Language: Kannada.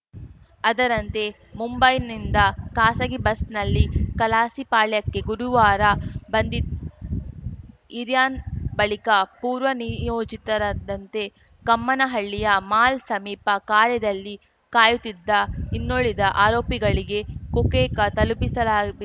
ಅದರಂತೆ ಮುಂಬೈನಿಂದ ಖಾಸಗಿ ಬಸ್‌ನಲ್ಲಿ ಕಲಾಸಿಪಾಳ್ಯಕ್ಕೆ ಗುರುವಾರ ಬಂದಿದು ಇರ್ಯಾನ್‌ ಬಳಿಕ ಪೂರ್ವ ನಿಯೋಜಿತರದಂತೆ ಕಮ್ಮನಹಳ್ಳಿಯ ಮಾಲ್‌ ಸಮೀಪ ಕಾರಿನಲ್ಲಿ ಕಾಯುತ್ತಿದ್ದ ಇನ್ನುಳಿದ ಆರೋಪಿಗಳಿಗೆ ಕೊಕೇಕ್‌ ತಲುಪಿಸಲಾಬೇ